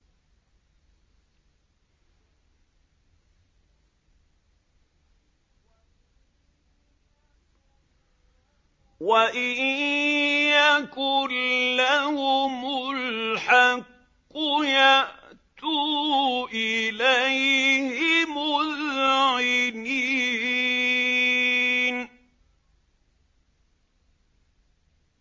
وَإِن يَكُن لَّهُمُ الْحَقُّ يَأْتُوا إِلَيْهِ مُذْعِنِينَ